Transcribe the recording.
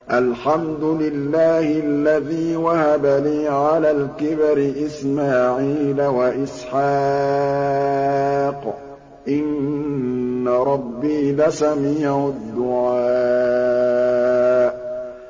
الْحَمْدُ لِلَّهِ الَّذِي وَهَبَ لِي عَلَى الْكِبَرِ إِسْمَاعِيلَ وَإِسْحَاقَ ۚ إِنَّ رَبِّي لَسَمِيعُ الدُّعَاءِ